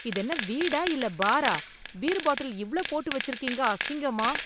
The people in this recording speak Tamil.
இதென்ன வீடா இல்ல பாரா? பீர் பாட்டில் இவ்ளோ போட்டு வெச்சிருக்கீங்க, அசிங்கமா.